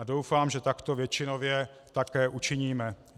A doufám, že takto většinově také učiníme.